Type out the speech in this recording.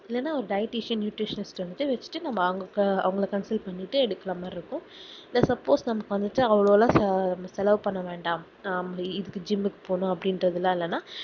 இல்லன dietitian nutrition வச்சிட்டு அவங்கள concel பண்ணிட்டு எடுக்குற மாதிரி இருக்கும் இல்ல suppose நமக்கு வந்துட்டு அவ்ளோ செலவு பண்ண வேண்டாம் இதுக்கு gym க்கு போகணும் அப்புடிங்குரதெல்லாம்இல்லனா